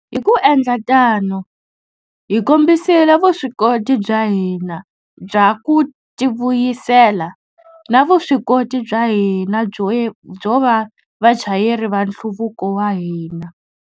Hi ku endla tano, hi kombisile vuswikoti bya hina bya ku tivuyisela na vuswikoti bya hina byo va vachayeri va nhluvuko wa hina.